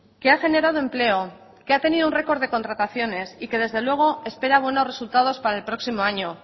que ha generado empleo que ha tenido un record de contrataciones y que desde luego espera buenos resultados para el próximo año